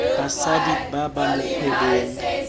basadi ba ba mo kgwebong